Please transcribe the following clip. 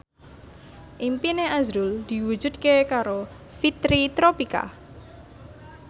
impine azrul diwujudke karo Fitri Tropika